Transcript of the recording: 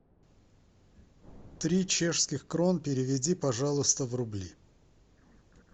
три чешских крон переведи пожалуйста в рубли